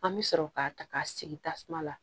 An bɛ sɔrɔ k'a ta k'a sigi tasuma la